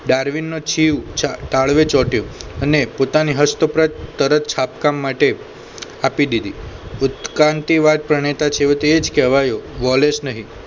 ડાર્વિનનો જીવ તાળવે ચોટ્યો અને પોતાની હસ્તપ્રદ તરત છાપકામ માટે આપી દીધી ઉત્ક્રાંતિ વાત પ્રણેતા છેવટે એ જ કહેવાયો વોલેશ નહિ